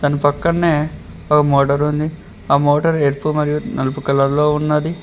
దాని పక్కనే ఓ మోటార్ ఉంది ఆ మోటార్ ఎరుపు మరియు నలుపు కలర్ లో ఉన్నది.